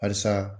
Halisa